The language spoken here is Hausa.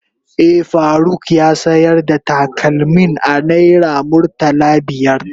Eh, Faruk ya sayar da takalmin a naira murtala biyar.